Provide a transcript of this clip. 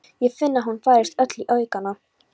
Ég finn að hún færist öll í aukana.